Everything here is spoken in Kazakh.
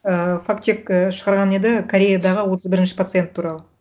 ыыы факт чек і шығарған еді кореядағы отыз бірінші пациент туралы